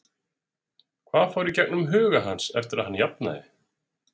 Hvað fór í gegnum huga hans eftir að hann jafnaði?